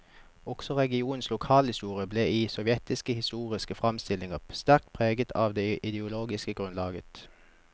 Også regionens lokalhistorie ble i sovjetiske historiske framstillinger sterkt preget av det ideologiske grunnlaget.